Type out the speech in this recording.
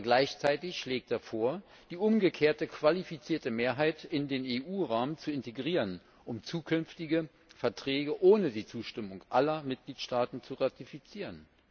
Aber gleichzeitig schlägt er vor, die umgekehrte qualifizierte Mehrheit in den EU Rahmen zu integrieren, um zukünftige Verträge ohne die Zustimmung aller Mitgliedstaaten zu ratifizieren.